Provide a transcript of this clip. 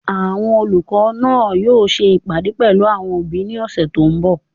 Àwọn olùkọ́ náà yóò ṣe ìpàdé pẹ̀lú àwọn òbí ní ọ̀sẹ̀ tó n bọ̀